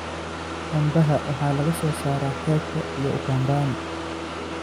Cambaha waxaa laga soo saaraa Xeebta iyo Ukambani.